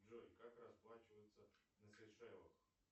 джой как расплачиваться на сейшелах